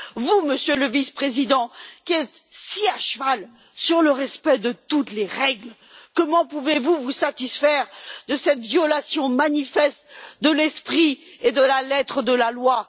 Vous, Monsieur le Vice Président, qui êtes si à cheval sur le respect de toutes les règles, comment pouvez vous vous satisfaire de cette violation manifeste de l'esprit et de la lettre de la loi?